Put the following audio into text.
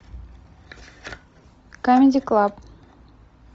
камеди клаб